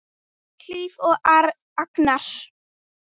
Hlíf og Agnar.